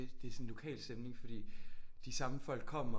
Det sådan lokalstemning fordi de samme folk kommer